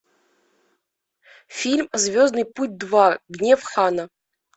фильм звездный путь два гнев хана